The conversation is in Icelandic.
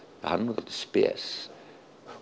hann er nú dálítið spes